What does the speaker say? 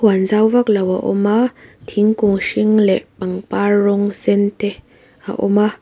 zau vak lo a awm a thingkung hring leh pangpar rawng sen te a awm a.